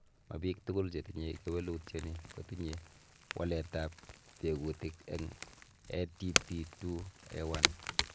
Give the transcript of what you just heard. Mobiik tugul chetinye kewelutioni kotinye waletab tekutik en ATP2A1.